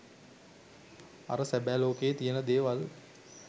අර සැබෑ ලෝකයේ තියෙන දේවල්